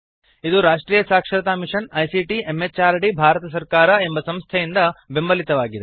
ಇದು ರಾಷ್ಟ್ರಿಯ ಸಾಕ್ಷರತಾ ಮಿಷನ್ ಐಸಿಟಿ ಎಂಎಚಆರ್ಡಿ ಭಾರತ ಸರ್ಕಾರ ಎಂಬ ಸಂಸ್ಥೆಯಿಂದ ಬೆಂಬಲಿತವಾಗಿದೆ